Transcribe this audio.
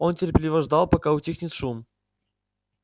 он терпеливо ждал пока утихнет шум